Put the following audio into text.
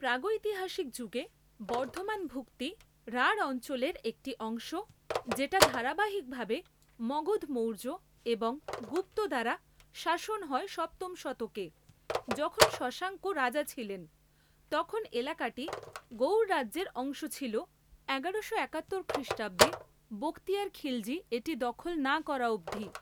প্রাগৈতিহাসিক যুগে বর্ধমান ভুক্তি রাঢ় অঞ্চলের একটি অংশ যেটা ধারাবাহিকভাবে মগধ মৌর্য এবং গুপ্ত দ্বারা শাসন হয় সপ্তম শতকে যখন শশাঙ্ক রাজা ছিলেন তখন এলাকাটি গৌড় রাজ্যের অংশ ছিল এগারোশো একাত্তর খ্রিষ্টাব্দে বখতিয়ার খিলজি এটি দখল না করা অবধি